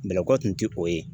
Bɛlɛkɔ tun tɛ o ye